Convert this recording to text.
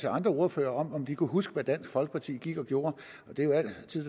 andre ordførere om de kunne huske hvad dansk folkeparti gik og gjorde